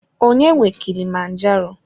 Ọnye nwe KIlimanjaro?